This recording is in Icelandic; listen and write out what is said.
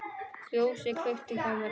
Ljósið kveiktu mér hjá.